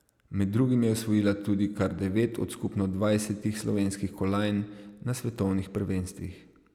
Med drugim je osvojila tudi kar devet od skupno dvajsetih slovenskih kolajn na svetovnih prvenstvih.